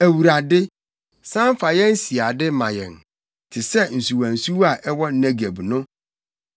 Awurade, san fa yɛn siade ma yɛn, te sɛ nsuwansuwa a ɛwɔ Negeb no.